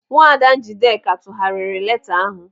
Nwaada Njideka tụgharịrị leeta ahụ.